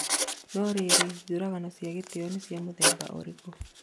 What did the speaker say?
no rĩrĩ 'njũragano cia gĩtĩo' nĩ cia mũthemba ũrĩku?